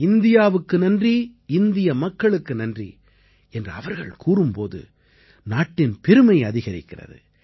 இந்தியாவுக்கு நன்றி இந்திய மக்களுக்கு நன்றி என்று அவ்ர்கள் கூறும்போது நாட்டின் பெருமை அதிகரிக்கிறது